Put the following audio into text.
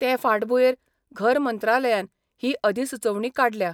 ते फांटभुयेंर घर मंत्रालयान हि अधिसुचोवणी काडल्या.